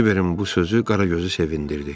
Kiberin bu sözü Qaragözü sevindirdi.